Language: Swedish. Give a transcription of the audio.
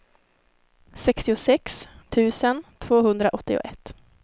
sextiosex tusen tvåhundraåttioett